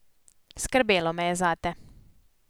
Skrbelo me je zate.